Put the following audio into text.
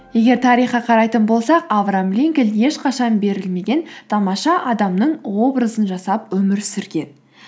егер тарихқа қарайтын болсақ авраам линкольн ешқашан берілмеген тамаша адамның образын жасап өмір сүрген